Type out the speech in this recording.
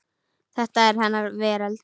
Þetta var hennar veröld.